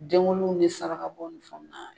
Denwuluw ni saraka bɔ ni fɛnw na